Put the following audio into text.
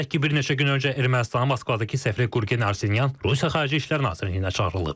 Qeyd edək ki, bir neçə gün öncə Ermənistanın Moskvadakı səfiri Qürgen Arsenyan Rusiya Xarici İşlər Nazirliyinə çağırılıb.